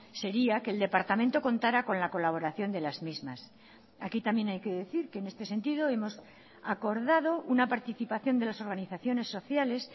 sería que el departamento contará con la colaboración de las mismas aquí también hay que decir que en este sentido hemos acordado una participación de las organizaciones sociales